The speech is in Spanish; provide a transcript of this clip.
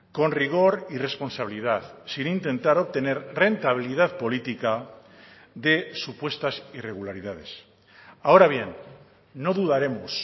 con rigor y responsabilidad sin intentar obtener rentabilidad política de supuestas irregularidades ahora bien no dudaremos